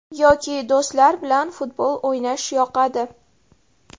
Yoki do‘stlar bilan futbol o‘ynash yoqadi.